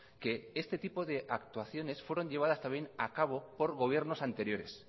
que este tipo de actuaciones fueron llevabas también a cabo por gobiernos anteriores